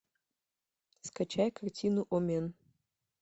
скачай картину омен